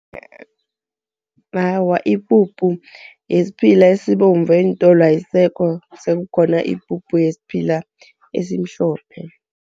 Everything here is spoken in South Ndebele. Awa, ipuphu yesiphila esibovu eentolo ayisekho, sekukhona ipuphu yesiphila esimhlophe.